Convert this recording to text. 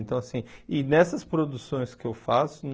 Então assim e nessas produções que eu faço,